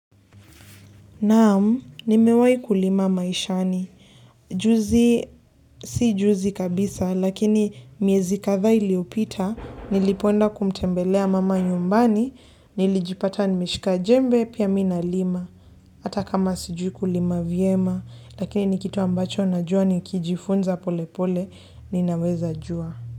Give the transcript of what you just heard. Naam, nimewai kulima maishani. Juzi, si juzi kabisa, lakini miezi kadhaa iliopita, nilipoenda kumtembelea mama nyumbani, nilijipata nimeshika jembe, pia mi nalima. Hata kama sijui kulima vyema, lakini ni kitu ambacho najua nikijifunza pole pole, ninaweza jua.